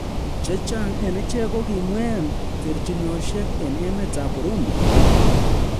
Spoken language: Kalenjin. Chechang en ichek kogimween terchinosiek en emetab Burundi